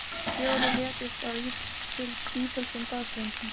Fjórir létust á ítölskum baðströndum